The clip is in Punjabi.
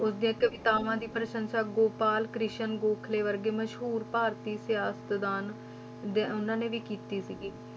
ਉਸ ਦੀਆਂ ਕਵਿਤਾਵਾਂ ਦੀ ਪ੍ਰਸੰਸਾ ਗੋਪਾਲ ਕ੍ਰਿਸ਼ਨ ਗੋਖਲੇ ਵਰਗੇ ਮਸ਼ਹੂਰ ਭਾਰਤੀ ਸਿਆਸਤਦਾਨ ਦੇ ਉਹਨਾਂ ਨੇ ਵੀ ਕੀਤੀ ਸੀਗੀ।